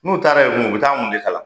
N'u taara yen kun u be taa mun de kalan